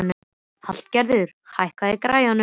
Hallgerður, hækkaðu í græjunum.